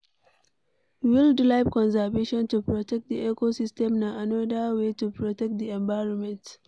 Wild life conservation to protect di ecosystem na anoda way to protect di environment